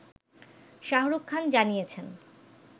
শাহরুখ খান জানিয়েছেন